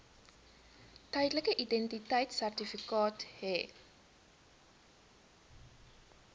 tydelike identiteitsertifikaat hê